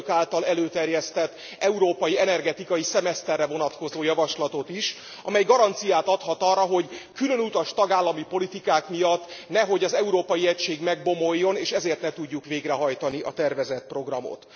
az Önök által előterjesztett európai energetikai szemeszterre vonatkozó javaslatot is, amely garanciát adhat arra, hogy különutas tagállami politikák miatt nehogy az európai egység megbomoljon, és ezért ne tudjuk végrehajtani a tervezett programot.